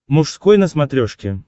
мужской на смотрешке